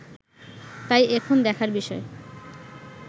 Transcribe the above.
তাই এখন দেখার বিষয়